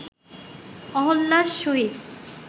অহল্যার সহিত